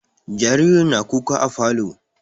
Jaririn na kuka a falo